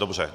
Dobře.